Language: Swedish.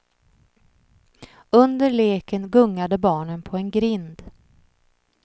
Under leken gungade barnen på en grind.